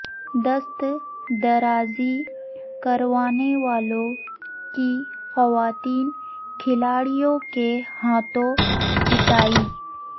دست درازی کرنیوالوں کی خواتین کھلاڑیوں کے ہاتھوں پٹائی